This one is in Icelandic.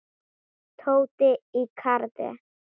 Tóti í karate.